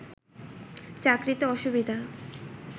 চাকরিতে অসুবিধা